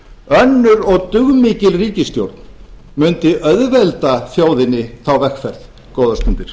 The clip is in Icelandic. önnur og dugmikil ríkisstjórn mundi auðvelda þjóðinni þá vegferð góðar stundir